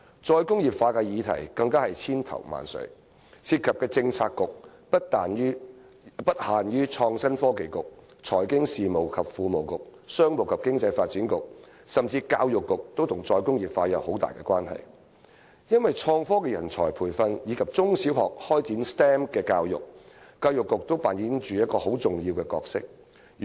"再工業化"的議題更是千頭萬緒，涉及的政策局不限於創新及科技局、財經事務及庫務局、商務及經濟發展局，甚至教育局也與"再工業化"有很大關係，因為在創科人才培訓和中小學開展 STEM 教育方面，教育局均扮演着一個很重要的角色。